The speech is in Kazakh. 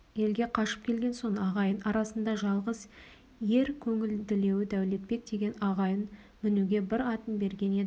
елге қашып келген соң ағайын арасындағы жалғыз ер көңілділеуі дәулетбек деген ағайын мінуге бір атын берген еді